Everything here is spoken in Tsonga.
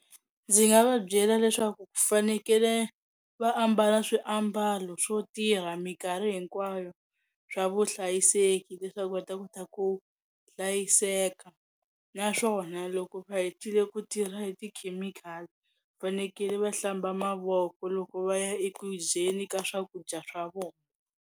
Ndzi nga va byela leswaku ku fanekele va ambala swiambalo swo tirha minkarhi hinkwayo swa vuhlayiseki leswaku va ta kota ku hlayiseka naswona loko va hetile ku tirha hi tikhemikhali fanekele va hlamba mavoko loko va ya eku dyeni ka swakudya swa vona.